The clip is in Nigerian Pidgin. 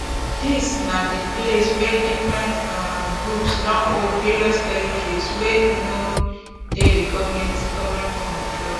dis na di place wia different um groups don hold various territories wey no dey di goment goment control